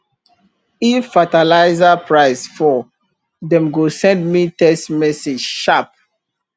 if fertiliser price fall dem go send me text message sharp